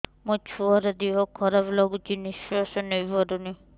ମୋ ଛୁଆର ଦିହ ଖରାପ ଲାଗୁଚି ନିଃଶ୍ବାସ ନେଇ ପାରୁନି